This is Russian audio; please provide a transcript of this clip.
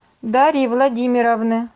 дарьи владимировны